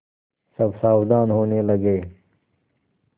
सब सावधान होने लगे